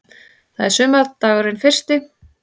Það er sumardagurinn fyrsti.